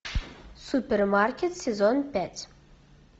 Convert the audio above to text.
супермаркет сезон пять